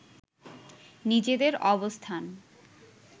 নিজেদের অবস্থান